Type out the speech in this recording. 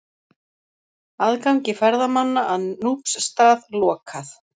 Aðgangi ferðamanna að Núpsstað lokað